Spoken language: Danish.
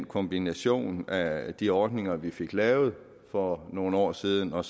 kombinationen af de ordninger vi fik lavet for nogle år siden og